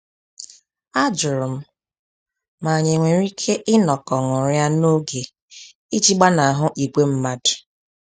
A jụrụ m ma anyị e nwere ike inọkọ ṅụrịa n'oge iji gbanahụ ìgwè mmadụ